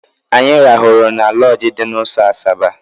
Anyị rahụrụ na lọọjị dị n'ụzọ Asaba.